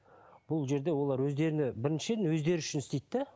бұл жерде олар өздеріне біріншіден өздері үшін істейді де